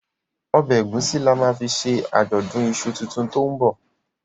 Ọbẹ egusi ní a má fí ṣe Ajọdun iṣu títún to'n bọ